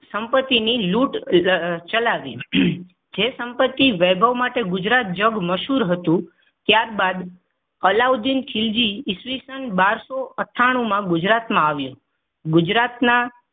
સંપતિની લૂંટ ચલાવી જે સંપત્તિ વૈભવ માટે ગુજરાત જગમશહૂર હતું ત્યારબાદ અલાઉદીન ખીલજી ઈસવીસન બારસો અઠ્ઠાણું માં ગુજરાતમાં આવ્યો. ગુજરાતના